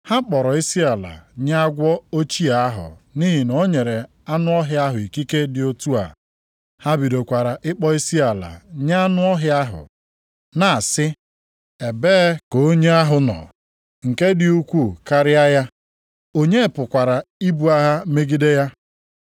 Ha kpọrọ isiala nye agwọ ochie ahụ nʼihi na o nyere anụ ọhịa ahụ ikike dị otu a. Ha bidokwara ịkpọ isiala nye anụ ọhịa ahụ, na-asị, “Ebee ka onye ahụ nọ, nke dị ukwuu karịa ya, onye pụkwara ibu agha megide ya?”